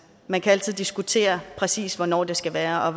man kan altid diskutere præcis hvornår det skulle være og